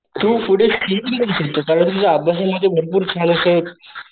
तू पुढेकरू शकतो कारण तुझं अभ्यास मध्ये भरपूर छान अस.